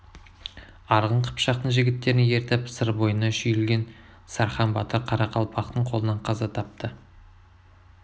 арғын қыпшақтың жігіттерін ертіп сыр бойына шүйілген сархан батыр қарақалпақтың қолынан қаза тапты